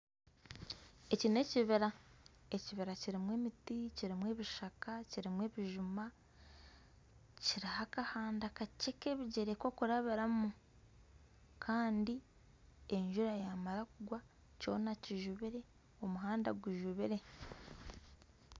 Eki nekibira. Ekibira kirimu emiti, Kirimu ebishaka, kirimu ebijuma kiriho akahanda kakye k'ebigyere kokurabiramu kandi enjura yamara kugwa kyona kijubire omuhanda gujubire.